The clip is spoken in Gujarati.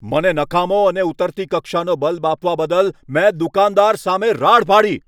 મને નકામો અને ઉતરતી કક્ષાનો બલ્બ આપવા બદલ મેં દુકાનદારન સામે રાડ પાડી.